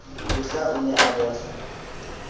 bohla o ne a bohla